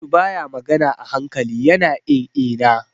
Audu baya magana a hankali, ya na in-ina.